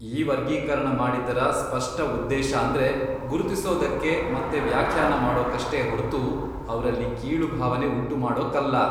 ಈ ವರ್ಗೀಕರಣ ಮಾಡಿದ್ದರ ಸ್ಪಷ್ಟ ಉದ್ದೇಶಾಂದ್ರೆ ಗುರುತಿಸೋದಕ್ಕೆ ಮತ್ತೆ ವ್ಯಾಖ್ಯಾನ ಮಾಡೋಕಷ್ಟೇ ಹೊರ್ತು ಅವ್ರಲ್ಲಿ ಕೀಳು ಭಾವನೆ ಉಂಟುಮಾಡೊಕ್ಕಲ್ಲ.